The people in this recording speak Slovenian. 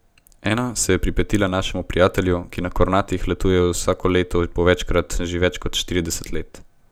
Ena se je pripetila našemu prijatelju, ki na Kornatih letuje vsako leto po večkrat že več kot štirideset let.